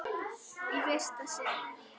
Í fyrsta sinnið.